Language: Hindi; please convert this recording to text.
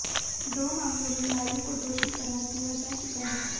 दो मामलों में लालू को दोषी करार दिया जा चुका है